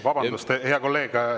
Vabandust, hea kolleeg!